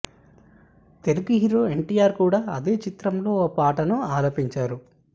Telugu hero NTR కూడా అదే చిత్రంలో ఓ పాటను ఆలపించారు